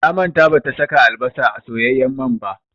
Ta manta bata saka albasa a soyayyen man ba